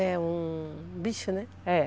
É um bicho, né?